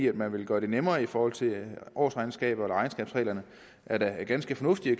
at man vil gøre det nemmere i forhold til årsregnskaberne eller regnskabsreglerne er da ganske fornuftig